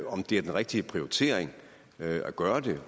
om det er den rigtige prioritering at gøre det